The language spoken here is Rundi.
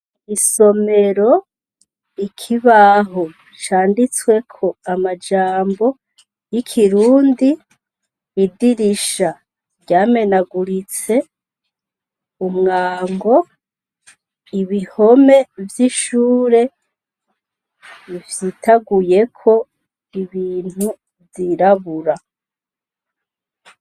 Isomero, ikibaho canditsweko amajambo y'ikirundi, idirisha ryamenaguritse ,umwango, ibihome vy'ishure bifyitaguyeko ibintu vyirabura .